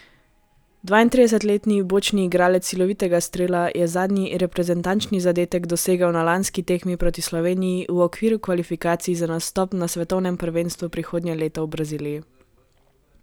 Dvaintridesetletni bočni igralec silovitega strela je zadnji reprezentančni zadetek dosegel na lanski tekmi proti Sloveniji v okviru kvalifikacij za nastop na svetovnem prvenstvu prihodnje leto v Braziliji.